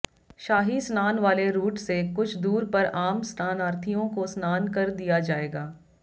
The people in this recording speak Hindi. शाही स्नान वाले रूट से कुछ दूर पर आम स्नानार्थियों को स्नान कर दिया जाएगा